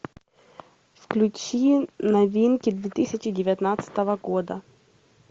включи новинки две тысячи девятнадцатого года